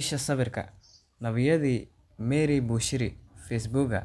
Isha sawirka, NABIYADII MARY BUSHIRI FACEBUGGA